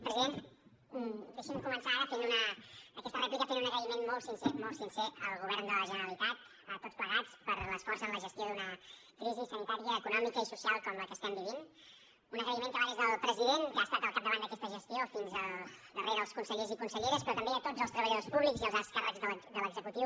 president deixi’m començar ara aquesta rèplica fent un agraïment molt sincer molt sincer al govern de la generalitat a tots plegats per l’esforç en la gestió d’una crisi sanitària econòmica i social com la que estem vivint un agraïment que va des del president que ha estat al capdavant d’aquesta gestió fins al darrer dels consellers i conselleres però també a tots els treballadors públics i als alts càrrecs de l’executiu